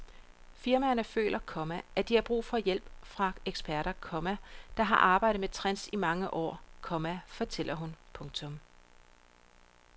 Firmaerne føler, komma at de har brug for hjælp fra eksperter, komma der har arbejdet med trends i mange år, komma fortæller hun. punktum